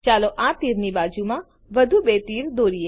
ચાલો આ તીર ની બાજુમાં વધુ બે તીર દોરીએ